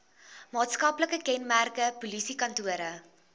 maatskaplike kenmerke polisiekantore